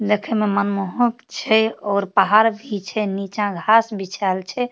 देखे में मनमोहक छै और पहाड़ भी छै नीचा घास बिछाइल छै।